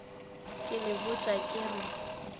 ke le botša ke re